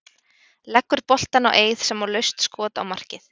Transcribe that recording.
Leggur boltann á Eið sem á laust skot á markið.